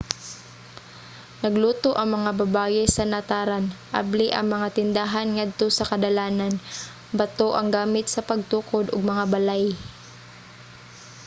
nagluto ang mga babaye sa nataran; abli ang mga tindahan ngadto sa kadalanan. bato ang gamit sa pagtukod og mga balay